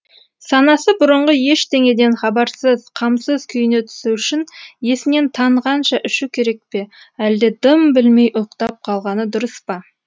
санасы бұрынғы ештеңеден хабарсыз қамсыз күйіне түсу үшін есінен танғанша ішу керек пе әлде дым білмей ұйықтап қалғаны дұрыс па